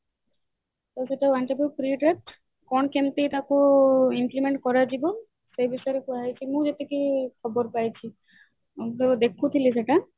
ତ ସେଇଟା one type of କଣ କେମିତି ଟାକୁ increment କରାଯିବ ସେ ବିଷୟରେ କୁହାଯାଇଛି ମୁଁ ଯେତିକି ଖବର ପାଇଛି ମୁଁ ତ ଦେଖୁଥିଲି ସେଇଟା